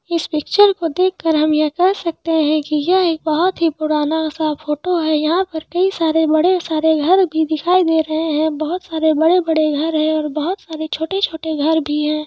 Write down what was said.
इस पिक्चर को देख कर हम ये कह सकते है की यह एक बहुत ही पुराना सा फोटो है यहा पर कही सारे बड़े घर भी दिखाई दे रहे है बहुत सारे बड़े बड़े घर है और बहुत सारे छोटे छोटे घर भी है।